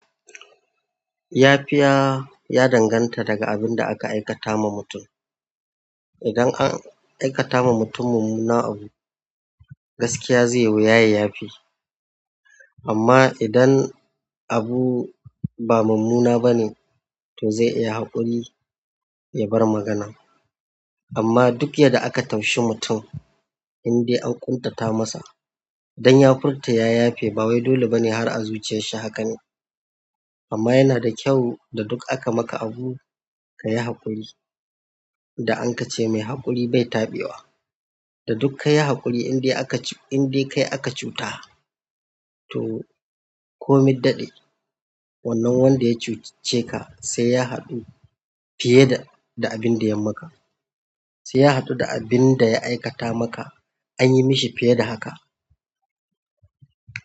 Yafiya ya danganta daga abinda aka aikata ma mutum idan an aikata ma mutum mummunan abu, gaskiya zai yi wuya ya yafe. Amma idan abu ba mummunna bane, to zai iya haƙuri ya bar maganan. Amma duk yadda aka taushi mutum, in dai an ƙuntata masa, dan ya furta ya yafe ba wai dole bane har a zuciyar shi haka ne. Amma yana da kyau da duk aka maka abu ka yi haƙuri. An ka ce mai haƙuri bai tabe wa da duk ka yi haƙuri in dai aka ci, in dai kai aka cuta, to komi daɗe wannan wanda ya cuce ka sai ya haɗu fiye da, da abin da ya maka. Sai ya haɗu da abin da ya aikata maka, an yi mishi fiye da haka.